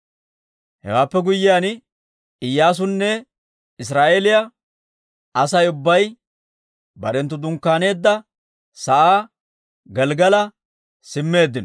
Hewaappe guyyiyaan Iyyaasunne Israa'eeliyaa Asay ubbay barenttu dunkkaaneedda sa'aa Gelggala simmeeddino.